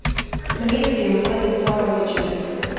дмитрием владиславовичем